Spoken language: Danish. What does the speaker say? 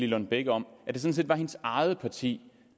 kan tale om partier